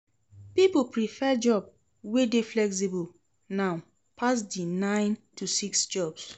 Pipo prefer job wey de flexible now pass di nine to six jobs